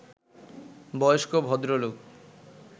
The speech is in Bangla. বয়স্ক ভদ্রলোক